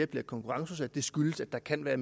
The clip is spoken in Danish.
bliver konkurrenceudsat skyldes at der kan være